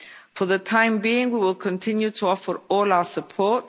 For the time being, we will continue to offer all our support.